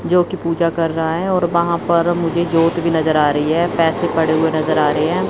जो की पूजा कर रहा है और वहां पर मुझे ज्योत भी नजर आ रही है पैसे पड़े हुए नजर आ रहे हैं।